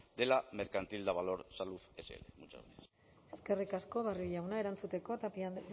de la mercantil davalor salud sl muchas gracias eskerrik asko barrio jauna erantzuteko tapia andrea